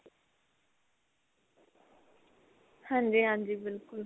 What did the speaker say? ਹਾਂਜੀ ਹਾਂਜੀ ਬਿਲਕੁਲ